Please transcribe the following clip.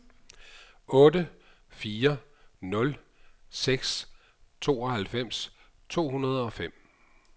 otte fire nul seks tooghalvfems to hundrede og fem